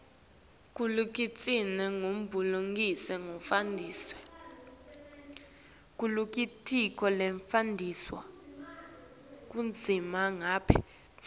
kulitiko letebulungisa nekutfutfukiswa